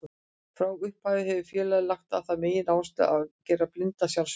Frá upphafi hefur félagið lagt á það megináherslu að gera blinda sjálfbjarga.